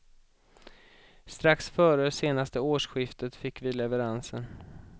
Strax före senaste årsskiftet fick vi leveransen.